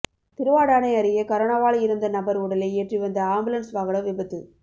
திருவாடானை அருகே கரோனாவால் இறந்த நபர் உடலை ஏற்றி வந்த ஆம்புலன்ஸ் வாகனம் விபத்து